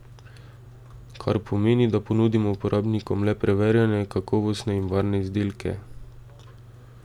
Kar pomeni, da ponudimo uporabnikom le preverjene, kakovostne in varne izdelke.